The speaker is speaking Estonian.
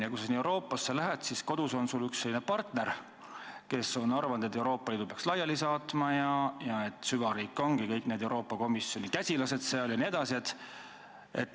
Ja kui sa sinna Euroopasse lähed, siis kodus on su erakonnal üks selline partner, kes on arvanud, et Euroopa Liidu peaks laiali saatma, et meil eksisteerib süvariik ja tegutsevad kõik need Euroopa Komisjoni käsilased jne.